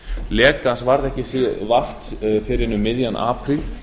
lekans varð ekki vart fyrr en um miðjan apríl